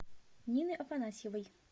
нины афанасьевой